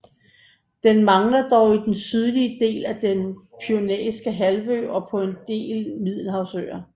Den mangler dog i den sydlige del af den Pyrenæiske halvø og på en del Middelhavsøer